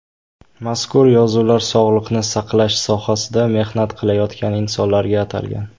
Mazkur yozuvlar sog‘liqni saqlash sohasida mehnat qilayotgan insonlarga atalgan.